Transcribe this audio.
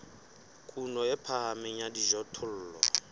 kuno e phahameng ya dijothollo